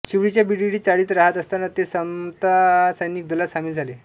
शिवडीच्या BDD चाळीत राहत असतांना ते समता सैनिक दलात सामील झाले